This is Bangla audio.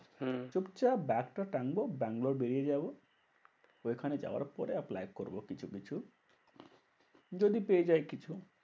হম চুপচাপ ব্যাগ টা টানবো ব্যাঙ্গালোর বেরিয়ে যাবো। ঐখানে যাবার পরে apply করবো কিছু কিছু। যদি পেয়েযাই কিছু।